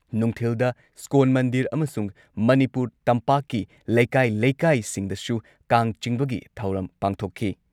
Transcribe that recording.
ꯅꯨꯡꯊꯤꯜꯗ ꯏꯁ꯭ꯀꯣꯟ ꯃꯟꯗꯤꯔ ꯑꯃꯁꯨꯡ ꯃꯅꯤꯄꯨꯔ ꯇꯝꯄꯥꯛꯀꯤ ꯂꯩꯀꯥꯏ-ꯂꯩꯀꯥꯏꯁꯤꯡꯗꯁꯨ ꯀꯥꯡ ꯆꯤꯡꯕꯒꯤ ꯊꯧꯔꯝ ꯄꯥꯡꯊꯣꯛꯈꯤ